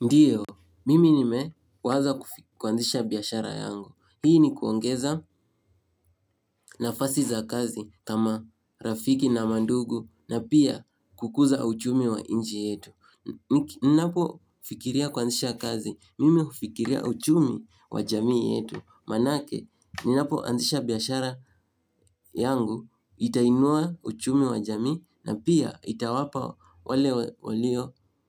Ndiyo, mimi nime waza kuanzisha biashara yangu. Hii ni kuongeza nafasi za kazi kama rafiki na mandugu na pia kukuza uchumi wa nchi yetu. Ninapo fikiria kuanzisha kazi, mimi hufikiria uchumi kwa jamii yetu. Manake, ninapoanzisha biashara yangu, itainua uchumi wa jamii na pia itawapa